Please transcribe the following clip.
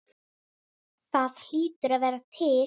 Það hlýtur að vera til?